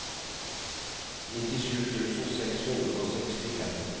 nittisju tusen seks hundre og sekstifem